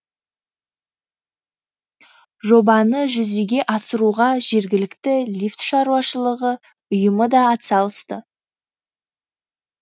жобаны жүзеге асыруға жергілікті лифт шаруашылығы ұйымы да атсалысты